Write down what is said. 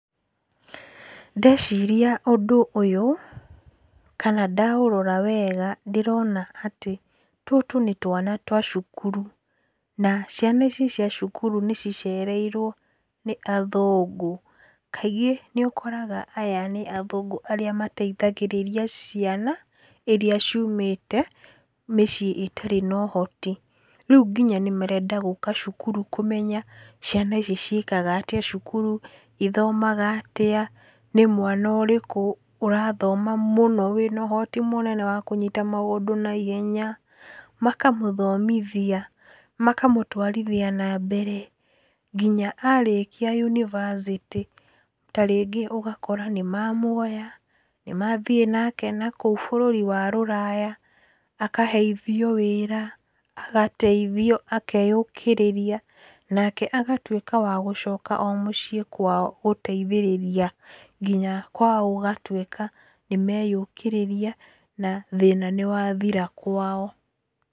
Ndeciria ũndũ ũyũ, kana ndaũrora wega ndĩrona atĩ tũtũ nĩ twana twa cukuru. Na ciana ici cia cukuru nĩcicereiwo nĩ athũngũ. Kaigĩ nĩũkoraga aya nĩ athũngũ arĩa mateithagĩrĩria ciana iria ciumĩte mĩciĩ ĩtarĩ nohoti. Rĩu nginya nĩmarenda gũka cukuru kũmenya ciana ici ciĩkaga atĩa cukuru, ithomaga atĩa, nĩ mwana ũrĩkũ ũrathoma mũno wĩnohoti mũnene wa kũnyita maũndũ naihenya, makamũthomithia, makamũtwarithia nambere nginya arĩkia univercity tarĩngĩ ũgakora nĩmamuoya, nĩmathĩ nake nakũu bũrũri wa rũraya, akaheithio wĩra, agateithio, akeyũkĩrĩria, nake agatuĩka wa gũcoka o mũciĩ kwao gũteithĩrĩria nginya kwao gũgatuĩka nĩmeyũkĩrĩria, na thĩna nĩwathira kwao.